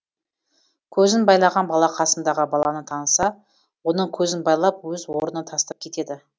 көзін байлаған бала қасындағы баланы таныса оның көзін байлап өз орнына тастап кетеді